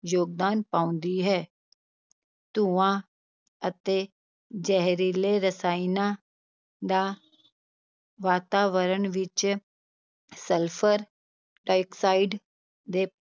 ਯੋਗਦਾਨ ਪਾਉਂਦੀ ਹੈ ਧੂੰਆਂ ਅਤੇ ਜ਼ਹਿਰੀਲੇ ਰਸਾਇਣਾਂ ਦਾ ਵਾਤਾਵਰਨ ਵਿੱਚ ਸਲਫਰ ਡਾਈਆਕਸਾਈਡ ਦੇ